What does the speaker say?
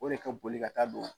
O de ka bolika taa don